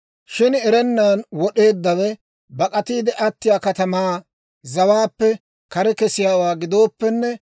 « ‹Shin erennan wod'eeddawe bak'atiide attiyaa katamaa zawaappe kare kesiyaawaa gidooppenne,